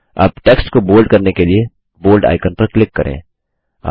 अब टेक्स्ट को बोल्ड करने के लिए बोल्ड आइकन पर क्लिक करें